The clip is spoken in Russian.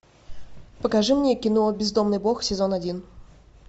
покажи мне кино бездомный бог сезон один